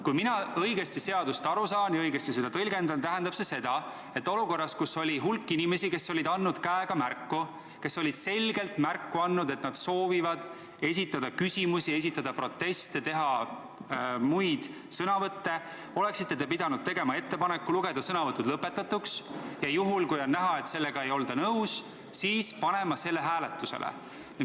Kui ma seadusest õigesti aru saan ja seda õigesti tõlgendan, tähendab see seda, et olukorras, kus hulk inimesi oli käega selgelt märku andnud, et nad soovivad esitada küsimusi või proteste ja teha muid sõnavõtte, oleksite teie pidanud tegema ettepaneku lugeda sõnavõtud lõpetatuks ja juhul, kui on näha, et sellega ei olda nõus, panema selle ettepaneku hääletusele.